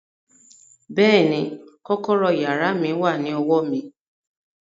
Bẹ́ẹ̀ni, kọ́kọ́rọ́ yàrá mi wà ní ọwọ́ mi